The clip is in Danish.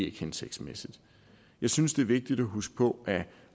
ikke hensigtsmæssigt jeg synes det er vigtigt at huske på at